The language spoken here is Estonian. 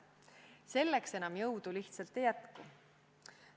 Selleks jõudu lihtsalt enam ei jätku.